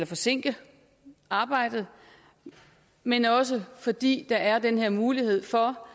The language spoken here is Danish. forsinke arbejdet men også fordi der er den her mulighed for